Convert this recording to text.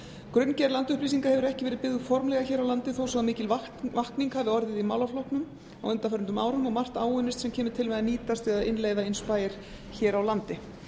grunngerð landupplýsinga hefur ekki verið byggð formlega hér á landi þó svo mikil vakning hafi orðið í málaflokknum á undanförnum árum og margt áunnist sem kemur til með að nýtast við að innleiða imspayer hér á landi